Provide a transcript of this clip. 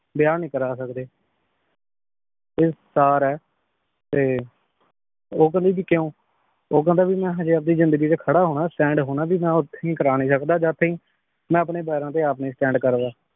ਵਿਯਾਹ ਨਾਈ ਕਰ ਸਕਦੇ ਤੇ ਸਰ ਆਯ ਤੇ ਊ ਕੇਹ੍ਨ੍ਦੀ ਭੀ ਕਯੋਂ ਊ ਕਹੰਦਾ ਭੀ ਹਜੀ ਮੈਂ ਆਪਣੀ ਜ਼ਿੰਦਗੀ ਚ ਖਾਰਾ ਹੋਣਾ stand ਹੋਣਾ ਓਦੋਂ ਤਿਨ ਨਾਈ ਕਰ ਸਕਦਾ ਜਦ ਟੀਏਨ ਮੈਂ ਅਪਨੇ ਪੈਰਾਂ ਤੇ ਆਪ ਨਾਈ stand ਕਰਦਾ